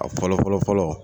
A fɔlɔ fɔlɔ fɔlɔ